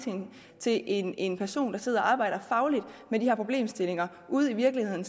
til en en person der sidder og arbejder fagligt med de her problemstillinger ude i virkeligheden